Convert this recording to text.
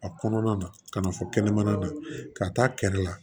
A kɔnɔna na ka na fɔ kɛnɛmana na ka taa kɛrɛ la